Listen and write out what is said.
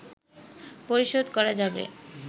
পরিশোধ করা যাবে